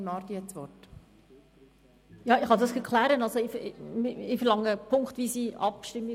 Ich verlange für unsere Motion eine punktweise Abstimmung.